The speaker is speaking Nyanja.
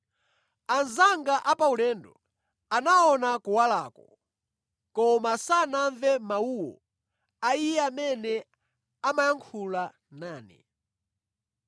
Anzanga a paulendo anaona kuwalako, koma sanamve mawuwo, a Iye amene amayankhula nane.